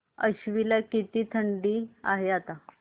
आश्वी ला किती थंडी आहे आता